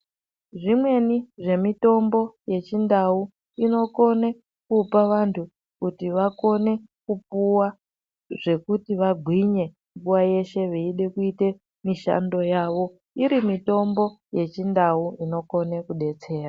Zvimweni zvemitombo yechindau, inokone kupa vantu kuti vakone kupuwa zvekuti vagwinye nguwa yeshe vetide kuyite mishando yavo. Irimitombo yechindau inokone kudetsera.